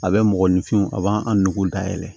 A bɛ mɔgɔninfinw a b'an an nugu dayɛlɛ